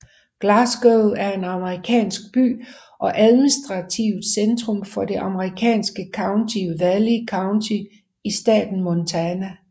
Glasgow er en amerikansk by og administrativt centrum for det amerikanske county Valley County i staten Montana